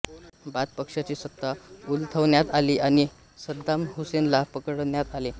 bath पक्षाची सत्ता उलथवण्यात आली आणि सद्दाम हुसेनला पकडण्यात आले